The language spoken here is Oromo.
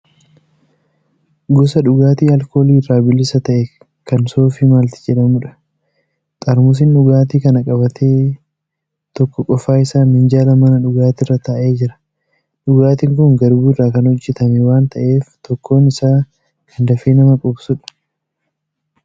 Gosa dhugaatii alkoolii irraa bilisa ta'e kan soofii maalt jedhamudha. Xaarmusiin dhugaatii kana qabate tokko qofaa isaa minjaala mana dhugaatiirra taa'ee jira. Dhugaatiin kun garbuu irraa kan hojjatame waan taa'eef tokkoon isaa kan dafee nama quubsudha.